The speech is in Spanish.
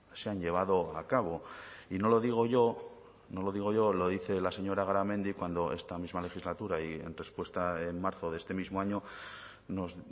se han llevado a cabo y no lo digo yo no lo digo yo lo dice la señora garamendi cuando esta misma legislatura y en respuesta en marzo de este mismo año nos